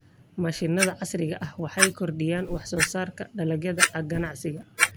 Mashiinnada casriga ah waxay kordhiyaan wax soo saarka dalagyada ganacsiga.